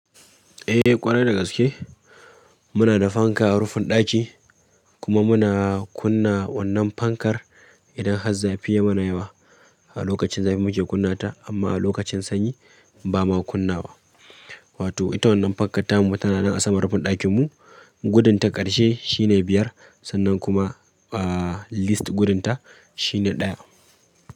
Eh ƙwarai da gaske muda da fanka rufin daki kuma muna kuna wannan fankar idan har zafi ya mana yawa. A lokacin zafi muke kunna ta amma a lokacin sanyi ba ma kunnawa. Wato ita wannan fankar tamu tana nan a saman rufin ɗakinmu. Gudunta ƙarshe shine biyar sannan kuma, ah, least gudunta shine ɗaya.